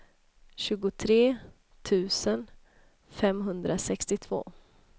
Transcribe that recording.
tjugotre tusen femhundrasextiotvå